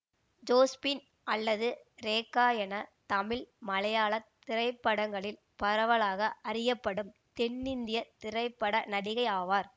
Josephine அல்லது ரேகா என தமிழ் மலையாள திரைப்படங்களில் பரவலாக அறியப்படும் தென்னிந்திய திரைப்பட நடிகை ஆவார்